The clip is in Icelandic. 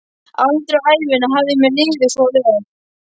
Aldrei á ævinni hafði mér liðið svo vel.